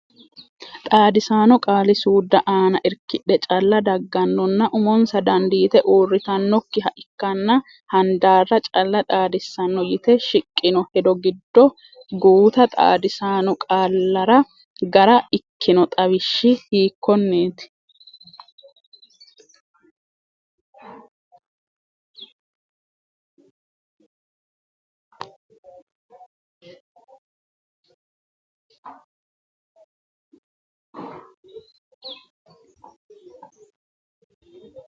Xaadisaano qaali-suudda aana irkidhe calla daggannonna Umonsa dandiite uurritannokkiha ikkanna handaarra calla xaadissanno yite shiqqino hedo giddo guuta xaadisaano qaallara gara ikkino xawishshi hiikkonneeti?